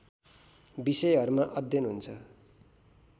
विषयहरूमा अध्ययन हुन्छ